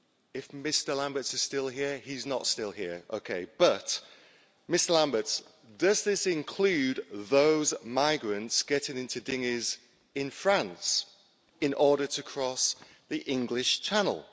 If Mr Lamberts is still here he's not here okay. But, Mr Lamberts, does this include those migrants getting into dinghies in France in order to cross the English Channel?